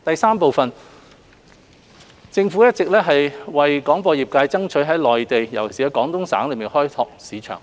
三政府一直有為廣播業界爭取在內地，尤其廣東省開拓市場。